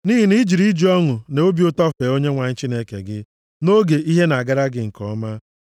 Nʼihi na ị jụrụ iji ọṅụ na obi ụtọ fee Onyenwe anyị Chineke gị nʼoge ihe na-agara gị nke ọma.